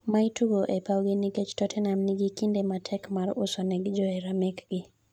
ma itugo e pao gi nikech totenam nigi kinde matek mar usonegi johera mekgi